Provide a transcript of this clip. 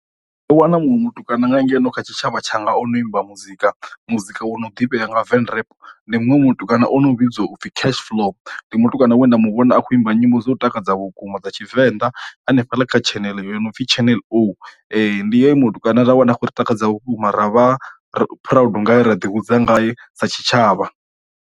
Ndo wana muṅwe mutukana nga ngeno kha tshitshavha tsha nga ono imba muzika muzika wo no ḓifhesa nga venrap ndi muṅwe mutukana o no vhidzwa upfhi cash flow, ndi mutukana we nda mu vhona a kho imba nyimbo dzo dza vhukuma dza tshivenḓa hanefha ḽa kha channel yo no pfi channel O, ndi ye mutukana ra wana a khou ri takadza vhukuma ra vha ri proud ngaye ra ḓi hudza ngae sa tshitshavha.